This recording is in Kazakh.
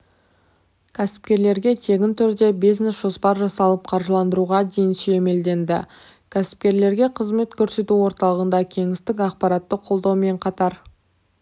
кәсіпкерлерге тегін түрде бизнес-жоспар жасалып қаржыландыруға дейін сүйемелденді кәсіпкерлерге қызмет көрсету орталығында кеңестік-ақпараттық қолдаумен қатар